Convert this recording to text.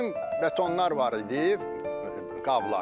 Çüyüm betonlar var idi, qablar.